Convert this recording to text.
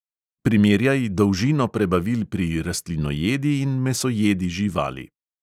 Primerjaj dolžino prebavil pri rastlinojedi in mesojedi živali.